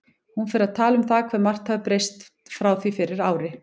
Hún fer að tala um það hvað margt hafi breyst frá því fyrir ári.